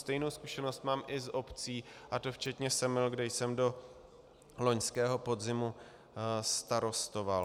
Stejnou zkušenost mám i z obcí, a to včetně Semil, kde jsem do loňského podzimu starostoval.